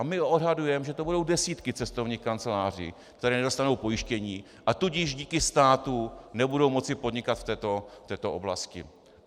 A my odhadujeme, že to budou desítky cestovních kanceláří, které nedostanou pojištění, a tudíž díky státu nebudou moci podnikat v této oblasti.